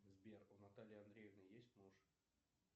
сбер у натальи андреевны есть муж